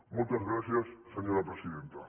moltes gràcies senyora presidenta